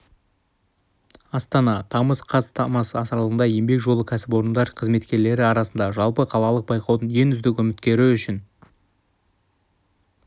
астана тамыз қаз тамыз аралығында еңбек жолы кәсіпорындар қызметкерлері арасында жалпықалалық байқаудың ең үздік үміткері үшін